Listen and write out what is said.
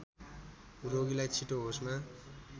रोगीलाई छिटो होसमा